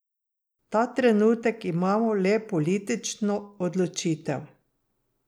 Ta trenutek imamo le politično odločitev.